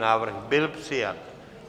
Návrh byl přijat.